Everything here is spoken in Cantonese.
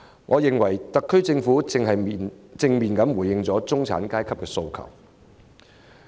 我認為特區政府已正面回應了中產階級的訴求。